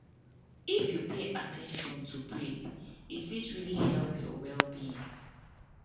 if you pay at ten tion to break e fit really help your wellbeing